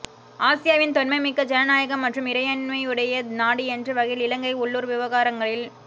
ஆசியாவின் தொன்மை மிக்க ஜன நாயகம் மற்றும் இறை மையுடைய நாடு என்ற வகையில் இலங்கையின் உள்ளூர் விவகாரங்களில்